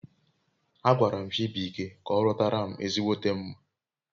Agwaram Chibuike ka orutaram ezigbote mma